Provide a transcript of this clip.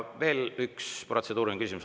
Veel üks protseduuriline küsimus.